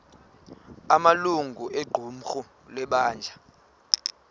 amalungu equmrhu lebandla